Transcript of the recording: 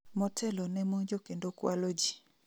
motelo ne monjo kendo kwalo ji